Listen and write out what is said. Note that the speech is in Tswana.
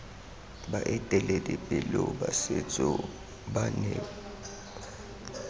baeteledipele ba setso ba ne